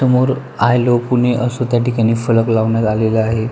समोर I love Pune असं त्या ठिकाणी फलक लावण्यात आलेला आहे.